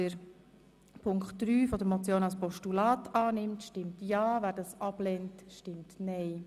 Wer diese als Postulat annimmt, stimmt ja, wer sie ablehnt, stimmt nein.